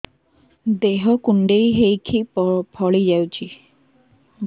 ଦେହ କୁଣ୍ଡେଇ ହେଇକି ଫଳି ଯାଉଛି